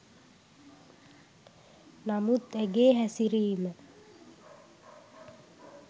නමුත් ඇගේ හැසිරීම